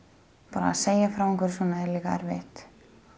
bara að segja frá svona er erfitt